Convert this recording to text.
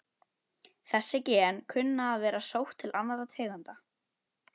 Þessi gen kunna að vera sótt til annarra tegunda.